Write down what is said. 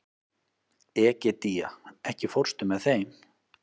Egedía, ekki fórstu með þeim?